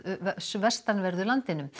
vestanverðu landinu